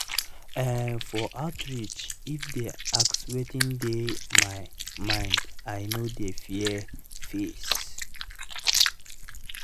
ehn for outreach i dey ask wetin dey my mind i no dey fear face.